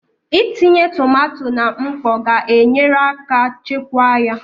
Itinye tomato na mkpọ ga-enyere aka chekwaa ya